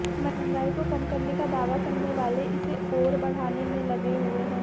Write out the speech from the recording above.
महंगाई को कम करने का दावा करने वाले इसे ओर बढ़ाने में लगे हुए हैं